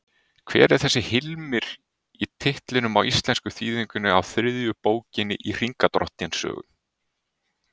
Hver er þessi Hilmir í titlinum á íslensku þýðingunni á þriðju bókinni í Hringadróttinssögu?